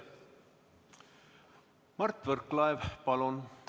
Mart Võrklaev, palun!